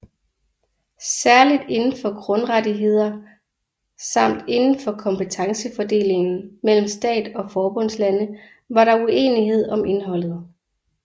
Særligt indenfor grundrettigheder samt indenfor kompetencefordelingen mellem stat og forbundslande var der uenighed om indholdet